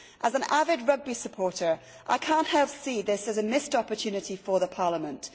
As an avid rugby supporter I cannot help but see this as a missed opportunity for the Parliament.